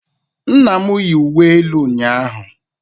nna m yi uwe elu ụnyahụ